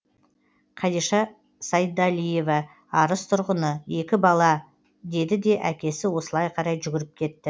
қадиша сайдалиева арыс тұрғыны екі бала деді де әкесі осылай қарай жүгіріп кетті